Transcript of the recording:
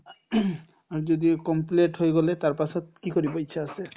আৰু যদি complete হৈ গ'লে তাৰপাছত কি কৰিব ইচ্ছা আছে ?